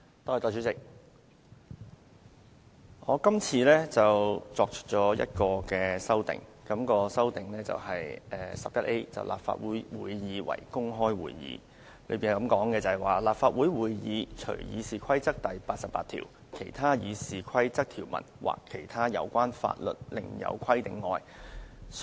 代理主席，我今次提出一項修訂，即第 11A 條，訂明立法會會議為公開會議：立法會會議須公開舉行，除《議事規則》第88條、其他《議事規則》條文或其他有關法律另有規定外。